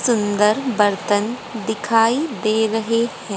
सुंदर बर्तन दिखाई दे रहे हैं।